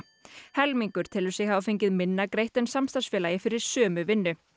helmingur telur sig hafa fengið minna greitt en samstarfsfélagi fyrir sömu vinnu